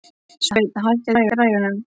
Sveinn, hækkaðu í græjunum.